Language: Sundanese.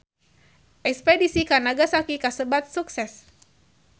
Espedisi ka Nagasaki kasebat sukses